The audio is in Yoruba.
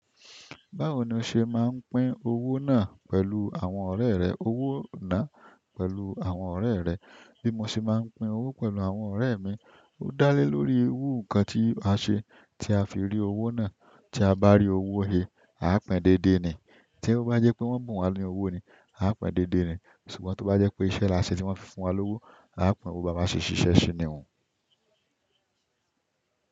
Báwo ni o ṣe máa ń pín owó náà pẹ̀lú àwọn ọ̀rẹ́ rẹ? Owó náà pẹ̀lú àwọn ọ̀rẹ́ rẹ. Bí mo ṣe máa ń pín owó pẹ̀lú àwọn ọ̀rẹ́ mi, ó dá lé lórí irú nǹkan tí a ṣe tí a fi rí owó náà. Tí a bá rí owó hé, á pín déédéé ni. Tí ó bá jẹ́ pé wọ́n bùn wa ní owó ni, a á pín déédéé ni. Ṣùgbọ́n tó bá jẹ́ pé iṣẹ́ la ṣe tí wọ́n fi fún wa lówó, a á pín owó bá a ṣe iṣẹ́ sí ni ọ́.